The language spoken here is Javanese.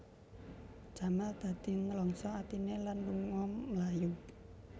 Jamal dadi nlangsa atiné lan lunga mlayu